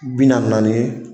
Bi naani naani ye.